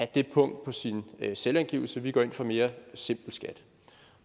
det punkt på sin selvangivelse vi går ind for mere simpel skat